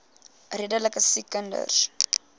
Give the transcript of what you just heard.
redelike siek kinders